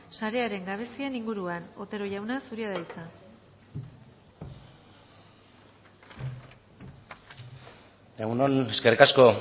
sarearen gabezien inguruan otero jauna zurea da hitza egun on eskerrik asko